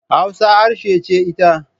Hausa harshe ce ita.